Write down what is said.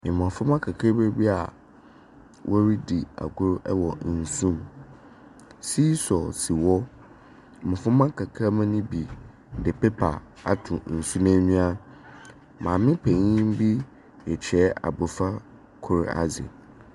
Mbɔframba kakra bi a wɔredi agor wɔ nsu mu. Seesaw si hɔ. Mboframba nkakramba no bi de paper ato nsu n'enyi. Maame panyim bi rekyerɛ abofra kor adze.